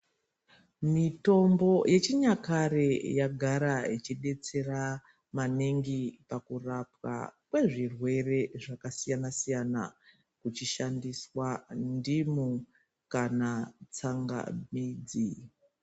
Mitombo yechinyakare yagara yechidetsera maningi pakurapwa kwezvirwere zvakasiyanasiyana kuchishandiswa ndimu kana tsangamidzi.